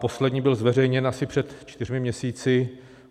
Poslední byl zveřejněn asi před čtyřmi měsíci.